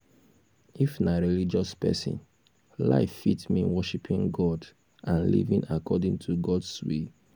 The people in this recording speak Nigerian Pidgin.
if na religious person life fit mean worshiping god and living according to god's will